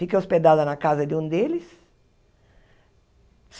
Fiquei hospedada na casa de um deles.